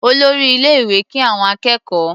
Olórí ilé-ìwé kí àwọn akẹ́kọ̀ọ́.